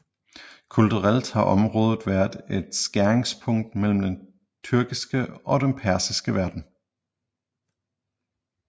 Kulturelt har området været et skæringspunkt mellem den tyrkiske og den persiske verden